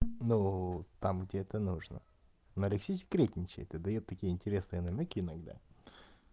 ну там где это нужно нарик всё секретничает и даёт такие интересные намёки иногда